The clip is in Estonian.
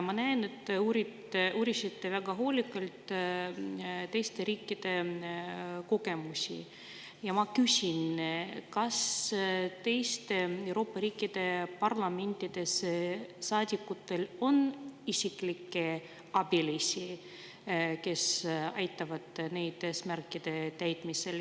Ma näen, et te uurisite väga hoolikalt teiste riikide kogemusi, ja ma küsin, kas teiste Euroopa riikide parlamentides saadikutel on isiklikke abilisi, kes aitavad neid eesmärkide täitmisel.